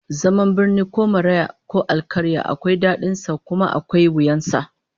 Zaman birni ko maraya ko alkarya akwai dadin sa kuma akwai wuyan sa